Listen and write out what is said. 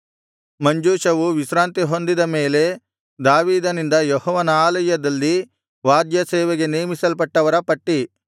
ಮಂಜೂಷವು ವಿಶ್ರಾಂತಿಹೊಂದಿದ ಮೇಲೆ ದಾವೀದನಿಂದ ಯೆಹೋವನ ಆಲಯದಲ್ಲಿ ವಾದ್ಯ ಸೇವೆಗೆ ನೇಮಿಸಲ್ಪಟ್ಟವರ ಪಟ್ಟಿ